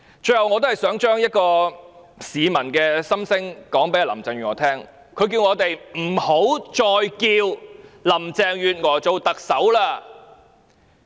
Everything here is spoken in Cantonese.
最後，我想把一位市民的心聲告訴林鄭月娥，他叫我們不要再稱呼林鄭月娥為特首。